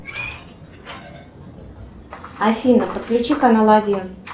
афина подключи канал один